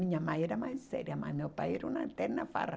Minha mãe era mais séria, mas meu pai era uma eterna farra.